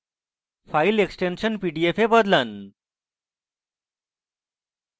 file extension pdf এ বদলান